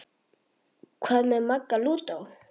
Hvað með Magga lúdó?